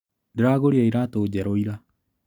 Ndĩragũrire iratũ njerũ ira.